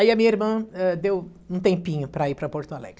Aí a minha irmã, eh, deu um tempinho para ir para Porto Alegre.